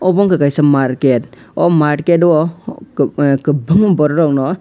abo wngkha kaisa market o market o kobang kobangma borok rogno.